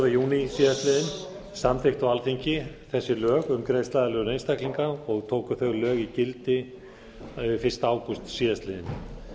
júní síðastliðinn samþykkt á alþingi þessi lög um greiðsluaðlögun einstaklinga og tóku þau lög gildi fyrsta ágúst síðastliðinn